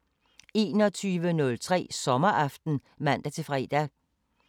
04:05: Råbånd (man-fre)